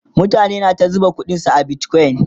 mutane na ta zuba ƙuɗin su a bitcoin